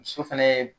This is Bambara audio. Muso fɛnɛ